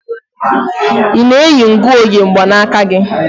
Ị na-eyi ngụoge mganaka gị?